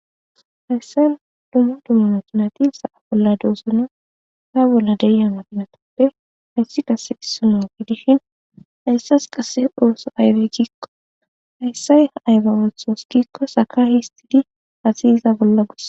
Hayissan dummu dummu mutunati sa'a bolla duosune ta bolla deya madinatappe hayssi qase issono gidishin hayssas qasse dooso aybe giikko hayssay aybe wolthos giikko saka histidi asi iza bolla gus